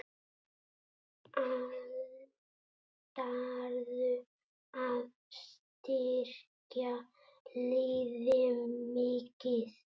Ætlarðu að styrkja liðið mikið?